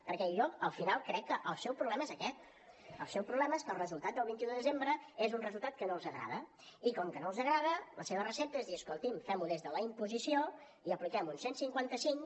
perquè jo al final crec que el seu problema és aquest el seu problema és que el resultat del vint un de desembre és un resultat que no els agrada i com que no els agrada la seva recepta és dir escolti’m fem ho des de la imposició i apliquem un cent i cinquanta cinc